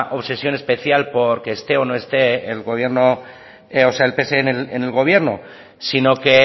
obsesión especial porque esté o no esté el gobierno o sea el pse en el gobierno sino que